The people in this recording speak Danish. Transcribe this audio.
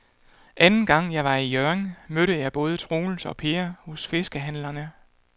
Anden gang jeg var i Hjørring, mødte jeg både Troels og Per hos fiskehandlerne.